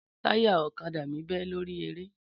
Táyà ọ̀kadà mi bẹ́ lórí eré